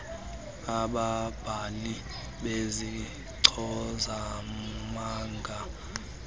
besigama ababhali bezichazimagama